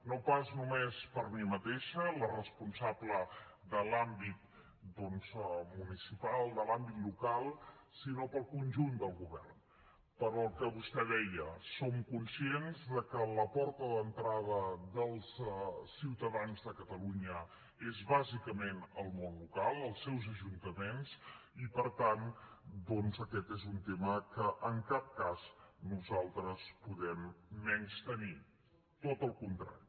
no pas només per mi mateixa la responsable de l’àmbit doncs municipal de l’àmbit local sinó pel conjunt del govern pel que vostè deia som conscients que la porta d’entrada dels ciutadans de catalunya és bàsicament el món local els seus ajuntaments i per tant doncs aquest és un tema que en cap cas nosaltres podem menystenir tot al contrari